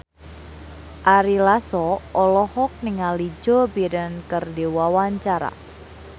Ari Lasso olohok ningali Joe Biden keur diwawancara